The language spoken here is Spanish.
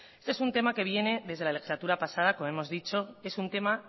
este es un tema que viene desde la legislatura pasada como hemos dicho es un tema